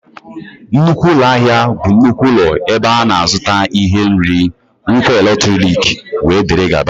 nnukwu ụlọ ahịa bụ nnukwu ụlọ ebe a na-azụta ihe, nri, ngwa eletrọnịkị wdg